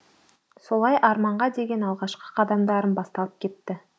солай арманға деген алғашқы қадамдарым басталып кетті